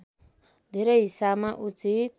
धेरै हिसाबमा उचित